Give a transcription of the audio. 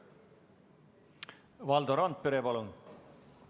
Valdo Randpere, palun!